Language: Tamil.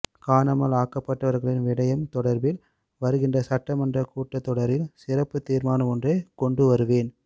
காணாமல் ஆக்கப்பட்டவர்களின் விடயம் தொடர்பில் வருகின்ற சட்டமன்றக் கூட்டத்தொடரில் சிறப்பு தீர்மனம் ஒன்றை கொண்டுவருவேன்